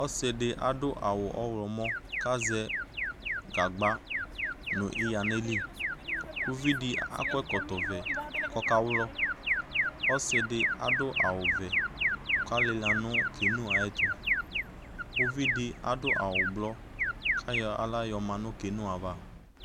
Ɔssɩdɩ adʋ awʋ ɔɣlɔmɔ kazɛ gagba nʋ ɩɣa n'ayili Uvidɩ akɔ ɛkɔtɔvɛ kɔka ɣlɔ Ɔsɩdɩ adʋ awʋvɛ k'alɩla nʋ keno ayɛtʋ, uvidɩ adʋ awʋblɔ k'ayɔ aɣla yɔma nʋ kenoava